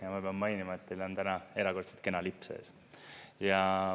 Ja ma pean mainima, et teil on täna erakordselt kena lips ees.